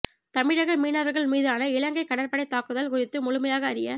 தமிழக மீனவர்கள் மீதான இலங்கை கடற்படை தாக்குதல் குறித்து முழுமையாக அறிய